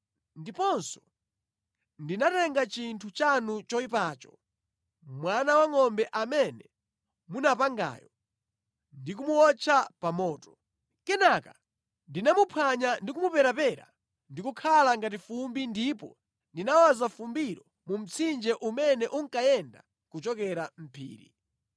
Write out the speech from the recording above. Ndiponso ndinatenga chinthu chanu choyipacho, mwana wangʼombe amene munapangayo, ndi kumuwotcha pa moto. Kenaka ndinamuphwanya ndi kumuperapera ndikukhala ngati fumbi ndipo ndinawaza fumbilo mu mtsinje umene unkayenda kuchokera mʼphiri.